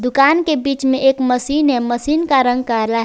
कान के बीच में एक मशीन है मशीन का रंग काला है।